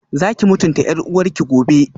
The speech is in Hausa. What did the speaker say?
Zakiyi mutunta yar uwarki gobe